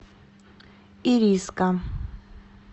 ириска